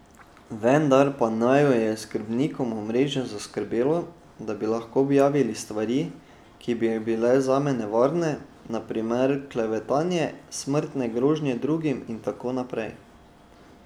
Vendar pa naju je s skrbnikom omrežja zaskrbelo, da bi lahko objavili stvari, ki bi bile zame nevarne, na primer klevetanje, smrtne grožnje drugim in tako naprej.